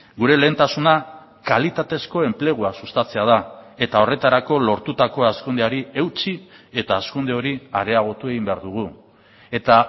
gure lehentasuna kalitatezko enplegua sustatzea da eta horretarako lortutako hazkundeari eutsi eta hazkunde hori areagotu egin behar dugu eta